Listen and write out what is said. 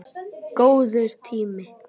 Góður tími.